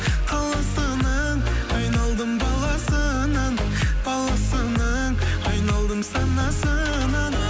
қаласының айналдым баласынан баласының айналдым санасынан